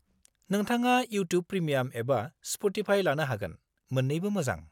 नोंथाङा YouTube premium एबा Spotify लानो हागोन, मोन्नैबो मोजां।